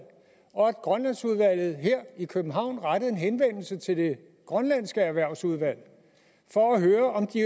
og at grønlandsudvalget her i københavn rettede en henvendelse til det grønlandske erhvervsudvalg for at høre om de